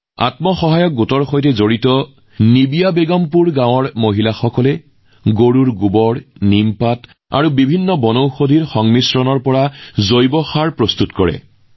আত্মসহায়ক গোটৰ সৈতে জড়িত নিবিয়া বেগমপুৰ গাঁৱৰ মহিলাসকলে গৰুৰ গোবৰ নিমৰ পাত আৰু বহু প্ৰকাৰৰ ঔষধি উদ্ভিদ মিহলাই জৈৱ সাৰ প্ৰস্তুত কৰে